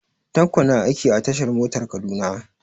Tanko na aiki a tashar motar Kaduna.